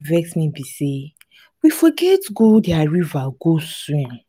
wetin dey vex me be say we forget go their river go swim.